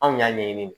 Anw y'a ɲɛɲini